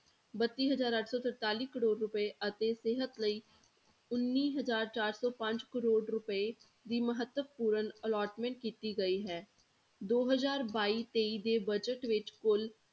ਬੱਤੀ ਹਜ਼ਾਰ ਅੱਠ ਸੌ ਤਰਤਾਲੀ ਕਰੌੜ ਰੁਪਏ ਅਤੇ ਸਿਹਤ ਲਈ ਉੱਨੀ ਹਜ਼ਾਰ ਚਾਰ ਸੌ ਪੰਜ ਕਰੌੜ ਰੁਪਏ ਦੀ ਮਹੱਤਵਪੂਰਨ allotment ਕੀਤੀ ਗਈ ਹੈ, ਦੋ ਹਜ਼ਾਰ ਬਾਈ ਤੇਈ ਦੇ budget ਵਿੱਚ ਕੁੱਲ